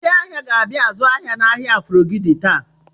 Ndị ahịa ga-abịa azụ ahịa n'ahịa Aforogidi taa.